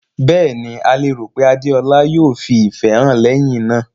Bẹ́ẹ̀ ni, a lérò pé Adeola yóò fi ìfẹ́ hàn lẹ́yìn náà.